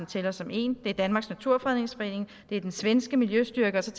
tæller som én det er danmarks naturfredningsforening det er den svenske miljøstyrelse